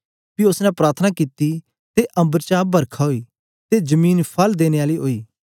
पी ओसने प्रार्थना कित्ती ते अम्बर चा बरखा ओई ते जमीन फल देने आली ओई